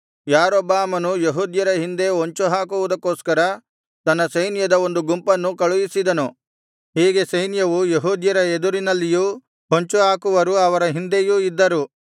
ಯಾರೊಬ್ಬಾಮನು ಯೆಹೂದ್ಯರ ಹಿಂದೆ ಹೊಂಚು ಹಾಕುವುದಕ್ಕೋಸ್ಕರ ತನ್ನ ಸೈನ್ಯದ ಒಂದು ಗುಂಪನ್ನು ಕಳುಹಿಸಿದನು ಹೀಗೆ ಸೈನ್ಯವು ಯೆಹೂದ್ಯರ ಎದುರಿನಲ್ಲಿಯೂ ಹೊಂಚುಹಾಕುವರು ಅವರ ಹಿಂದೆಯೂ ಇದ್ದರು